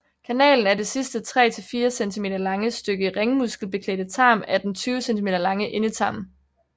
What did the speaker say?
Kanalen er det sidste 3 til 4 cm lange stykke ringmuskelbeklædte tarm af den 20 cm lange endetarm